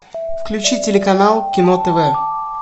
включи телеканал кино тв